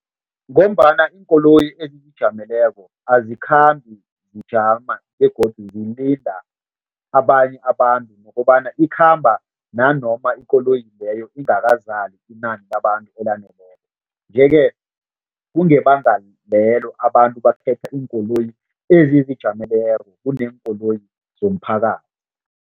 Ngombana iinkoloyi ezizijameleko azikhambi zijama begodu zilinda abanye abantu nokobana ikhamba nanoma ikoloyi leyo ingakazali inani labantu elaneleko nje-ke kungebanga lelo abantu bakhetha iinkoloyi ezizijameleko kuneenkoloyi zomphakathi.